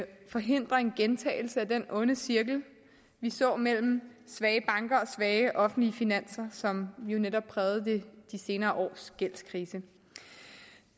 forhindre en gentagelse af den onde cirkel vi så mellem svage banker og svage offentlige finanser som jo netop prægede de senere års gældskrise